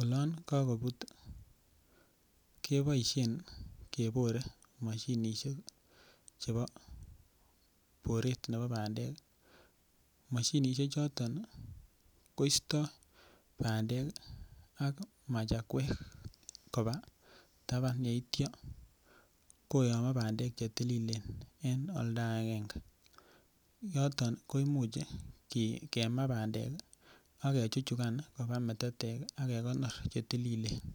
olon kakobut keboisien kebore mashinisiek chebo boret nebo bandek mashinisiek choton koistoi bandek ak machakwek koba taban yeityo koyomo bandek Che tililen en oldo agenge yoton ko Imuch kemaa bandek ak kechuchugan koba metetek ak kegonor Che tililen